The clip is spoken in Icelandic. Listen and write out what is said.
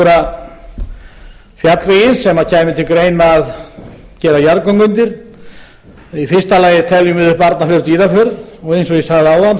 þó nokkra fjallvegi sem kæmi til greina að gera jarðgöng undir í fyrsta lagi teljum við upp arnarfjörð dýrafjörð og eins og ég sagði